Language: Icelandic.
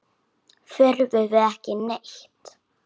Þurfum við ekki neitt?